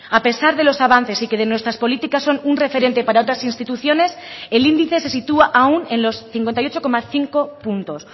a pesar de los avances y que de nuestras políticas son un referente para otras instituciones el índice se sitúa aún en los cincuenta y ocho coma cinco puntos